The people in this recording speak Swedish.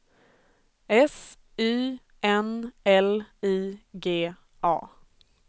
S Y N L I G A